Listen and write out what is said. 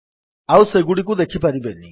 ଆଉ ସେଗୁଡ଼ିକୁ ଦେଖିପାରିବେନି